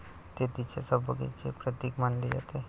ते तिच्या सौभाग्याचे प्रतीक मानले जाते.